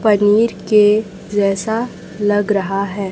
पनीर के जैसा लग रहा है।